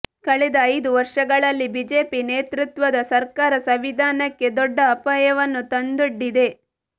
ಕಳೆದ ಐದು ವರ್ಷಗಳಲ್ಲಿ ಬಿಜೆಪಿ ನೇತೃತ್ವದ ಸರ್ಕಾರ ಸಂವಿಧಾನಕ್ಕೆ ದೊಡ್ಡ ಅಪಾಯವನ್ನು ತಂದೊಡ್ಡಿದೆ